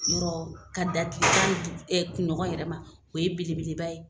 yɔrɔ ka da tile tan ni du kuɲɔgɔn yɛrɛ ma, o ye belebeleba ye.